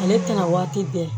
Ale tɛna waati bɛɛ